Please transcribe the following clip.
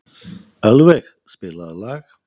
Ölveig, spilaðu lag.